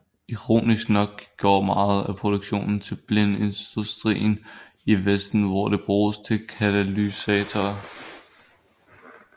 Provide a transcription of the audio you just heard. Ironisk nok går meget af produktionen til bilindustrien i vesten hvor det bruges til katalysatorer